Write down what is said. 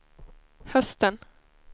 hösten